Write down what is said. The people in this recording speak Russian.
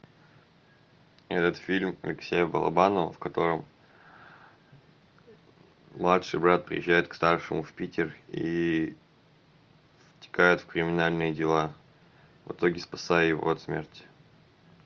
этот фильм алексея балабанова в котором младший брат приезжает к старшему в питер и втекает в криминальные дела в итоге спасая его от смерти